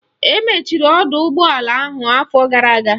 Emechiri ọdọụgbọala ahụ afọ gara aga